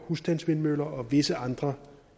husstandsvindmøller og visse andre